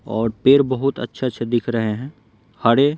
और पेड़ बहुत अच्छे-अच्छे दिख रहे हैं हरे।